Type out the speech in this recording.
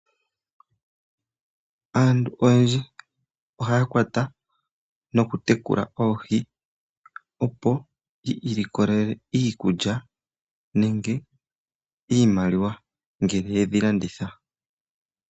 Aantu oyendji ohaya kwata nokutekula oohi opo yi ilikolele iikulya nenge iimaliwa uuna ye dhi landitha.